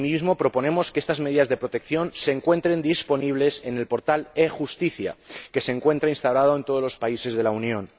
Asimismo, proponemos que estas medidas de protección se encuentren disponibles en el portal e justicia, que se encuentra instalado en todos los países de la Unión.